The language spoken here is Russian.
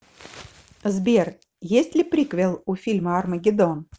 сбер есть ли приквел у фильма армагедон